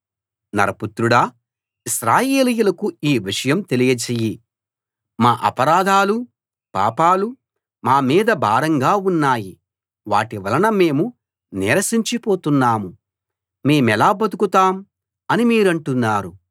నరపుత్రుడా ఇశ్రాయేలీయులకు ఈ విషయం తెలియచెయ్యి మా అపరాధాలూ పాపాలూ మా మీద భారంగా ఉన్నాయి వాటి వలన మేము నీరసించిపోతున్నాము మేమెలా బతుకుతాం అని మీరంటున్నారు